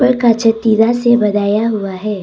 कांचे तिरा से बनाया हुआ है।